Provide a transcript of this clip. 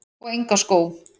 Og enga skó?